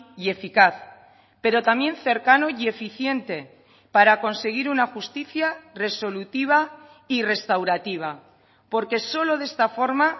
y eficaz pero también cercano y eficiente para conseguir una justicia resolutiva y restaurativa porque solo de esta forma